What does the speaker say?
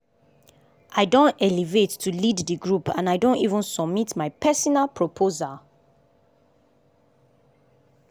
i don elevate to lead the group and i don even submit my personal proposal.